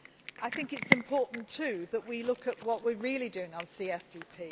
I think it is important too that we look at what we are really doing on CSDP